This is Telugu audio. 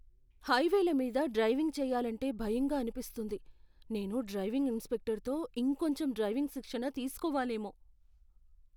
హైవేల మీద డ్రైవింగ్ చేయాలంటే భయంగా అనిపిస్తుంది, నేను డ్రైవింగ్ ఇన్స్ట్రక్టర్తో ఇంకొంచెం డ్రైవింగ్ శిక్షణ తీసుకోవాలేమో.